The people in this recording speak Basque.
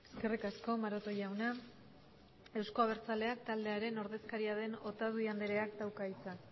eskerrik asko maroto jauna euzko abertzaleak taldearen ordezkaria den otadui andereak dauka hitza